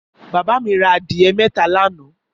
Bàbá mi ra adìẹ mẹ́ta lánàá.